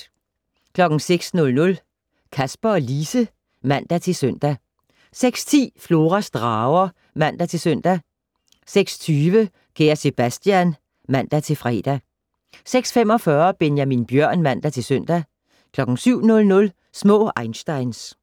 06:00: Kasper og Lise (man-søn) 06:10: Floras drager (man-søn) 06:20: Kære Sebastian (man-fre) 06:45: Benjamin Bjørn (man-søn) 07:00: Små einsteins